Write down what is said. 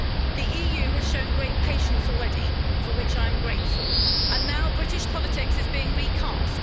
The EU has shown great patience already, for which I am grateful, and now British politics is being recast.